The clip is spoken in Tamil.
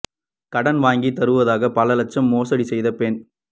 கடன் வாங்கித் தருவதாக பல லட்சம் மோசடி செய்த பெண்